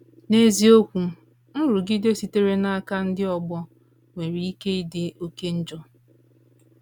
N’eziokwu, nrụgide sitere n’aka ndị ọgbọ nwere ike ịdị oké njọ.